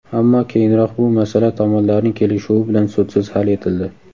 Ammo keyinroq bu masala tomonlarning kelishuvi bilan sudsiz hal etildi.